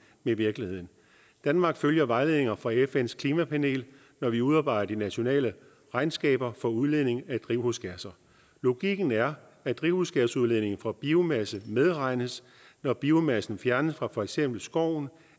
med virkeligheden danmark følger vejledninger fra fns klimapanel når vi udarbejder de nationale regnskaber for udledning af drivhusgasser logikken er at drivhusgasudledningen fra biomasse medregnes når biomassen fjernes fra for eksempel skoven